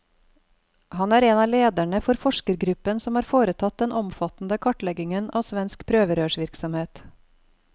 Han er en av lederne for forskergruppen som har foretatt den omfattende kartleggingen av svensk prøverørsvirksomhet.